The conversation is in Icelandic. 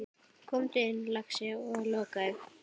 Komdu inn, lagsi, og lokaðu!